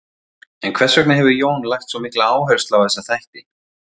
En hvers vegna hefur Jón lagt svo mikla áherslu á þessa þætti?